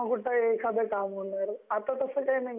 तेव्हा कुठ एखाद काम होणार, आता तसं काही नाहीए.